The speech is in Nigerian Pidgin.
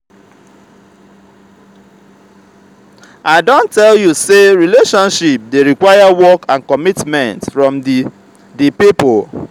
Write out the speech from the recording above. i don tell you sey relationship dey require work and commitment from di di pipo.